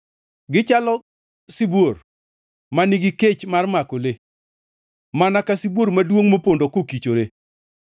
Gichalo sibuor ma nigi kech mar mako le, mana ka sibuor maduongʼ mopondo kokichore.